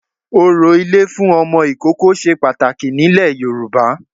Orò ilé fún Ọmọ ìkókó se pàtàkì nílẹ̀ Yorùbá